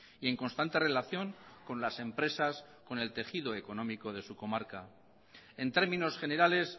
y en constante relación con las empresas con el tejido económico de su comarca en términos generales